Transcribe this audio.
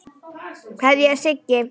Kveðja, Siggi.